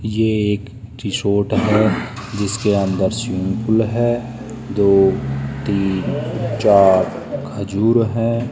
ये एक रिसॉर्ट है जिसके अन्दर स्विमिंग पूल है दो तीन चार खजूर हैं।